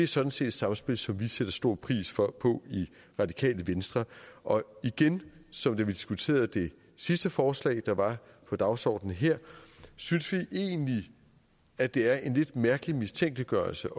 sådan set et samspil som vi sætter stor pris på i radikale venstre og igen som da vi diskuterede det sidste forslag der var på dagsordenen her synes vi egentlig at det er en lidt mærkelig mistænkeliggørelse